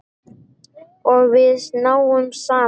Og við náðum saman.